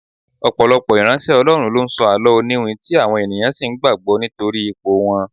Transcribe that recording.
Ọ̀pọ̀lọpọ̀ ìránṣẹ́ Ọlọ́run ló ń sọ àló oniwin tí àwọn ènìyàn sì ń gbàgbó nítorí ipò wọn.